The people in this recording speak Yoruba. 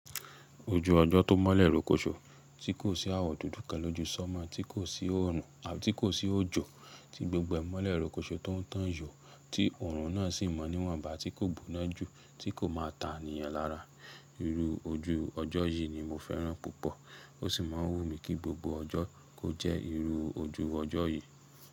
Ojú ọjọ́ tó mọ́lẹ̀ rókóṣó tí kò sí àwọ̀ dúdú kẹ́lọ́ ju sọ́mọ̀ tí kò sí òòrùn àbí tí kò sí òjò tí gbogbo ẹ̀ mọ́lẹ̀ rókóṣó tó ń tàn yó tí òòrùn náà sì mọ níwọ̀n ba tí kò gbóná jù tí kò má ta ènìyàn lára. Irú ojú ọjọ́ yìí ni mo fẹ́ràn púpọ̀ ó sì má ń wù mí kí gbogbo ọjọ́ kó jẹ́ irú ojú ọjọ́ yìí.